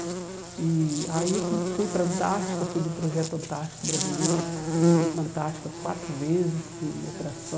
E Aí eu fui para a Antártica, fui do projeto Antártico Brasileiro, fui para a Antártica quatro vezes em operação.